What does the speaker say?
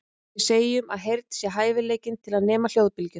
Við segjum að heyrn sé hæfileikinn til að nema hljóðbylgjur.